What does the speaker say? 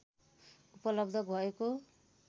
उपलब्ध भएको